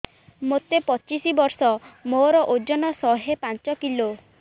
ମୋତେ ପଚିଶି ବର୍ଷ ମୋର ଓଜନ ଶହେ ପାଞ୍ଚ କିଲୋ